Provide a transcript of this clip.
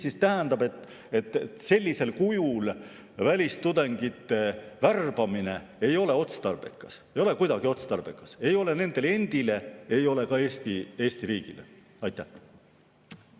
See tähendab, et sellisel kujul välistudengite värbamine ei ole otstarbekas, ei ole kuidagi otstarbekas ei nende endi ega ka Eesti riigi.